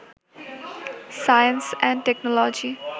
science and technology